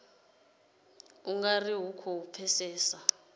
u nga ri khou pfesesa